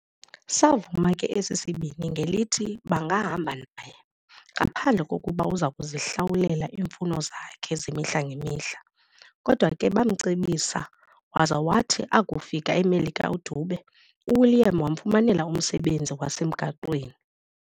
Saavuma ke esi sibini ngelithi bangahamba naye, ngaphandle kokuba uzakuzihlawulela iimfuno zakhe zemihla-ngemihla. Kodwa ke baamcebisa, waza wathi akufika eMelika uDube, uWilliam wamfumanela umsebenzi wasemgaqweni.